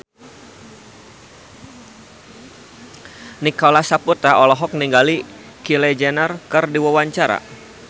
Nicholas Saputra olohok ningali Kylie Jenner keur diwawancara